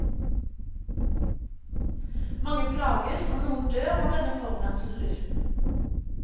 Mange plages og noen dør av denne forurensede luften.